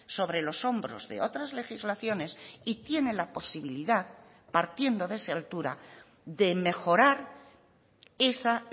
sobre los hombros de otras legislaciones y tiene la posibilidad partiendo de esa altura de mejorar esa